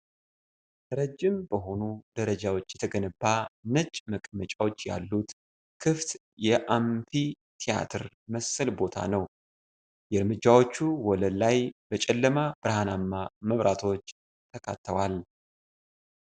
ረጅም በሆኑ ደረጃዎች የተገነባ ነጭ መቀመጫዎች ያሉት ክፍት የአምፊ ቲያትር መሰል ቦታ ነው። የእርምጃዎቹ ወለል ላይ በጨለማ ብርሃናማ መብራቶች ተካተዋል።